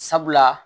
Sabula